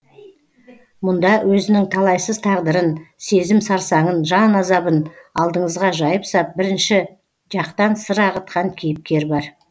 мұнда өзінің талайсыз тағдырын сезім сарсаңын жан азабын алдыңызға жайып сап бірінші жақтан сыр ағытқан кейіпкер бар